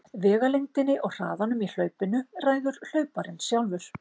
Vegalengdinni og hraðanum í hlaupinu ræður hlauparinn sjálfur.